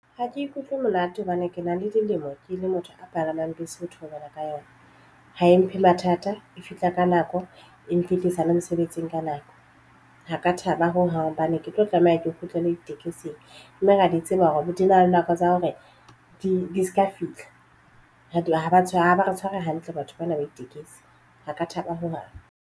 Ha ke ikutlwe molato hobane ke na le dilemo ke le motho a palamang bese ho theohela ka yona ha e mphe mathata e fihla ka nako e mfihlisa le mosebetsing ka nako Ha ka thaba ho hang bane ke tlo tlameha ke kgutlele ditekesing mme ra di tseba hore di na le nako tsa hore di se ka fihla e haba tshwara ba tshware hantle batho bana ba ditekesi ha ka thaba ho hang.